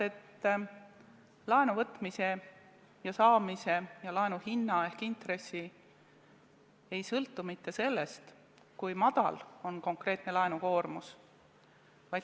Laenu võtmine ja saamine ja laenu hind ehk intress ei sõltu mitte sellest, kui väike on konkreetne laenukoormus.